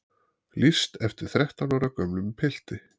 Lýst eftir þrettán ára gömlum pilti